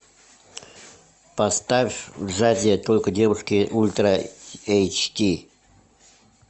поставь в джазе только девушки ультра эйч ди